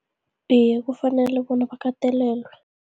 Iye, kufanele bona bakatelelwe.